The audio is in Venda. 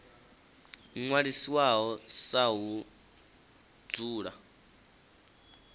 ṅwalisiwaho sa ha u dzula